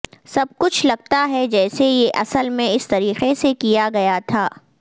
سب کچھ لگتا ہے جیسے یہ اصل میں اس طریقے سے کیا گیا تھا